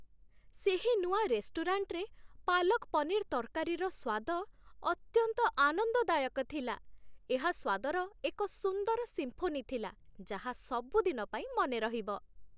ସେହି ନୂଆ ରେଷ୍ଟୁରାଣ୍ଟରେ ପାଲକ୍ ପନିର୍ ତରକାରୀର ସ୍ୱାଦ ଅତ୍ୟନ୍ତ ଆନନ୍ଦଦାୟକ ଥିଲା, ଏହା ସ୍ୱାଦର ଏକ ସୁନ୍ଦର ସିମ୍ଫୋନି ଥିଲା ଯାହା ସବୁଦିନ ପାଇଁ ମନେରହିବ